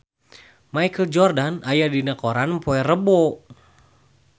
Michael Jordan aya dina koran poe Rebo